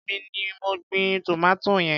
Èmi ni mo gbin tòmátì yẹn.